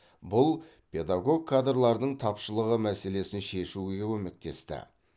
бұл педагог кадрлардың тапшылығы мәселесін шешуге көмектесті